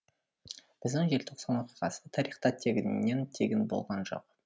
біздің желтоқсан оқиғасы тарихта тегіннен тегін болған жоқ